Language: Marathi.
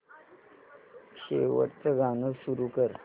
शेवटचं गाणं सुरू कर